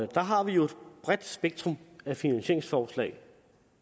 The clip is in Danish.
der har vi et bredt spektrum af finansieringsforslag